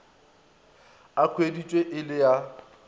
a hweditšwe e le a